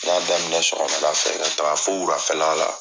N ɲa daminɛ sɔgɔmada fɛ ka taa fo wulafɛla la